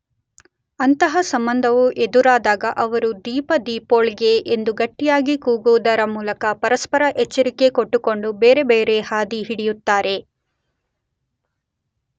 ಅಂತಹ ಸಂಭವವು ಎದುರಾದಾಗ ಅವರು ‘ದೀಪ-ದೀಪೋಳ್ಗೆ ‘ ಎಂದು ಗಟ್ಟಿಯಾಗಿ ಕೂಗುವುದರ ಮೂಲಕ ಪರಸ್ಪರ ಎಚ್ಚರಿಕೆ ಕೊಟ್ಟುಕೊಂಡು ಬೇರೆ ಬೇರೆ ಹಾದಿ ಹಿಡಿಯುತ್ತಾರೆ.